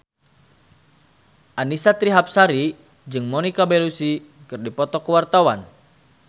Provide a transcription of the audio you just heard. Annisa Trihapsari jeung Monica Belluci keur dipoto ku wartawan